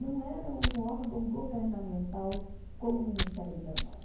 Não era um órgão governamental como o Ministério do Trabalho.